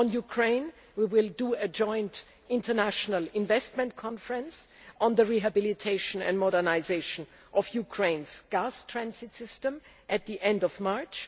together. On Ukraine, we will be holding a joint international investment conference on the rehabilitation and modernisation of Ukraine's gas transit system at the end